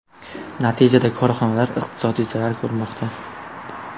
Natijada korxonalar iqtisodiy zarar ko‘rmoqda.